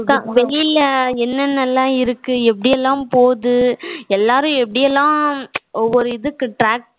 அதான் வெளியில என்ன நல்லா இருக்கு எப்படி எல்லாம் போகுது எல்லாரும் எப்படி எல்லாம் ஒவ்வொரு இதுக்கு